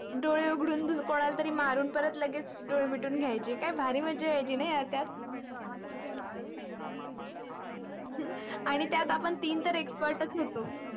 दोडे उघडून कोनाला तरी मारून परत लगेच दोडे मिटून घायचो काय भारी माझा यायची ना आठवते ना आन्ही त्यात आपण त्यात तीन तर expert होतो.